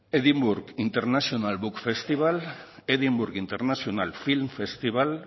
edinburgh international book festival edinburgh internacional film festival